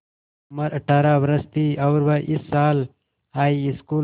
उम्र अठ्ठारह वर्ष थी और वह इस साल हाईस्कूल